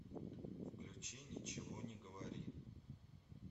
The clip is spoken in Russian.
включи ничего не говори